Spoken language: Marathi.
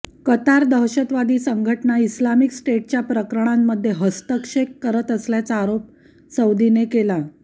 कतार दहशतवादी संघटना इस्लामिक स्टेटच्या प्रकरणांमध्ये हस्तक्षेप करत असल्याचा आरोप सौदीने केला